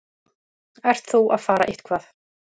Ert þú að fara eitthvað?